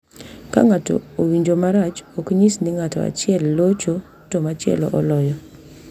Ka ng’ato owinjo marach, ok nyis ni ng’ato achiel locho to machielo oloyo,